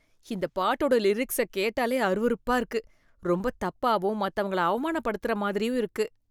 இந்த பாட்டோட லிரிக்ஸை கேட்டாலே அருவருப்பா இருக்கு. ரொம்ப தப்பாவும் மத்தவங்கள அவமானப்படுத்துற மாதிரியும் இருக்கு.